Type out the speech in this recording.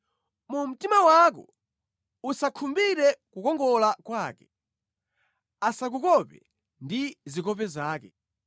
Mu mtima wako usakhumbire kukongola kwake, asakukope ndi zikope zake,